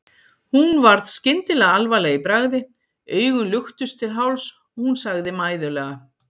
Hún varð skyndilega alvarleg í bragði, augun luktust til hálfs og hún sagði mæðulega